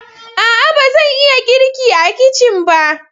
A'a! ba zan iya girki a kicin ba.